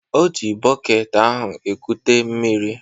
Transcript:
O ji bọket ahụ ekute mmiri.